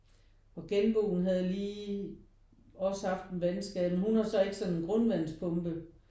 Og genboen havde lige også haft en vandskade men hun har så ikke sådan en grundvandspumpe